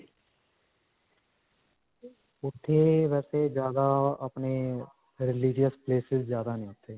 ਉੱਥੇ ਵੈਸੇ ਜਿਆਦਾ ਅਪਨੇ religious places ਜਿਆਦਾ ਨੇ ਉੱਥੇ.